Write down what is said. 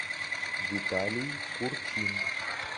виталий курчин